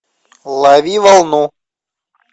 лови волну